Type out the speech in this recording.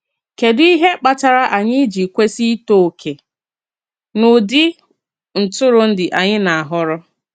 Kédù ihe kpatara anyị ji kwesị ịtọ oke n’ụdị ntụrụndụ anyị nā-ahọrọ?